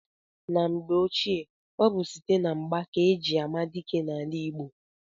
Na mgbe ochie, ọ bụ site na mgba ka eji ama dike n'ala Igbo.